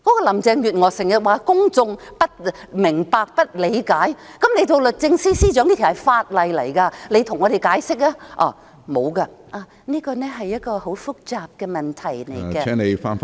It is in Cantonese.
林鄭月娥經常說公眾不明白、不理解，那她身為律政司司長，好應該向我們解釋這法例，但她沒有，只說這是一個很複雜的問題......